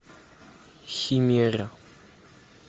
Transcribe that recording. химера